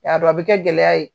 Y'a dɔn a bɛ kɛ gɛlɛya ye!